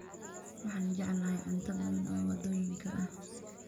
Waxaan jeclahay cunto badan oo waddooyinka ah